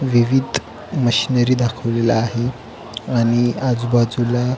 विविध मशीनरी दाखवलेल्या आहे आणि आजूबाजूला--